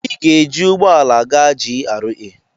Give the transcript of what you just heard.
Ị ga-ejị ụgbọ ala gaa GRA